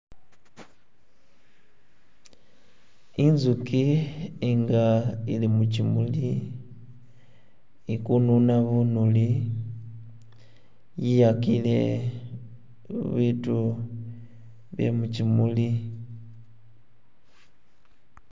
inzuki nga ili mukyimuli ikununa bunuli yiyakile bitu byemukyimuli